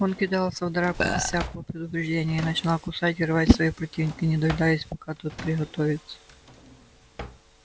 он кидался в драку без всякого предупреждения и начинал кусать и рвать своего противника не дожидаясь пока тот приготовится